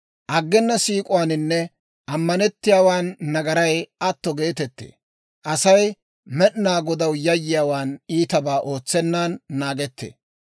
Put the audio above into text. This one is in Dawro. Aggena siik'uwaaninne ammanettiyaawaan nagaray atto geetettee; Asay Med'inaa Godaw yayyiyaawaan iitabaa ootsennan naagettee.